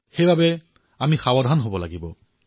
সেয়ে আমি সম্পূৰ্ণ সাৱধানতা পালন কৰিব লাগিব